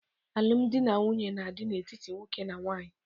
Alụmdi na nwunye na-adị n'etiti nwoke na nwaanyị.